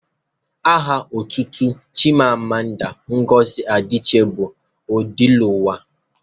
Aha otutu Chimamanda Ngozi Adiche bụ Odeluwa